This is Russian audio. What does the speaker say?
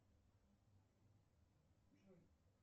джой